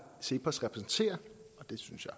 cepos repræsenterer det synes jeg